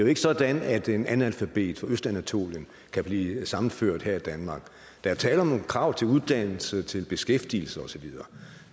ikke sådan at en analfabet fra østanatolien kan blive sammenført her i danmark der er tale om nogle krav til uddannelse til beskæftigelse og så videre